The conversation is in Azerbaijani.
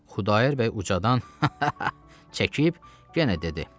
Xudayar bəy ucadan çəkib genə dedi.